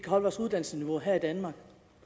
holde vores uddannelsesniveau her i danmark